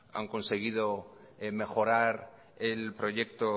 han conseguido mejorar el proyecto